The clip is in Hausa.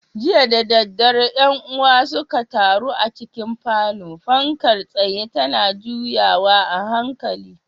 Jiya da daddare ƴan uwa suka taru a cikin falon, fankar tsayen tana juyawa a hankali.